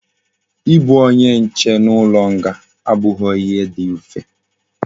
I bu onye nche n'ulo nga abughi ihe di mfe